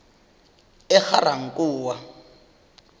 egarankuwa